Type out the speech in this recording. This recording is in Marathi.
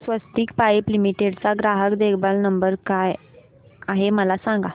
स्वस्तिक पाइप लिमिटेड चा ग्राहक देखभाल नंबर काय आहे मला सांगा